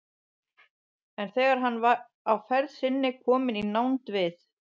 En þegar hann var á ferð sinni kominn í nánd við